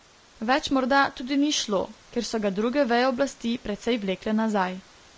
Več morda tudi ni šlo, ker so ga druge veje oblasti precej vlekle nazaj.